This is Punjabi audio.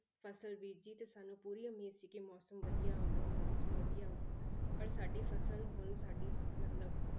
ਫਸਲ ਬੀਜ਼ੀ ਤੇ ਸਾਨੂੰ ਪੂਰੀ ਉਮੀਦ ਸੀ ਕਿ ਮੌਸਮ ਵਧੀਆ ਆਊਗਾ ਮੋਨਸੂਨ ਵਧੀਆ ਆਊਗਾ, ਪਰ ਸਾਡੀ ਫਸਲ ਹੁਣ ਸਾਡੀ ਮਤਲਬ